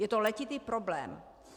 Je to letitý problém.